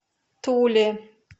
туле